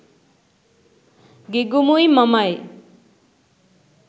ගිගුමුයි මමයි